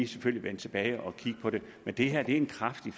selvfølgelig vende tilbage og kigge på det men det her er en kraftig